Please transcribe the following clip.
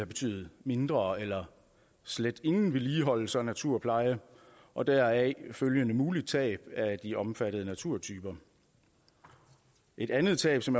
betydet mindre eller slet ingen vedligeholdelse og naturpleje og deraf følgende mulige tab af de omfattede naturtyper et andet tab som